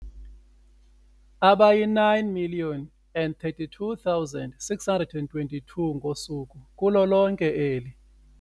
Abayi-9 032 622 ngosuku kulo lonke eli.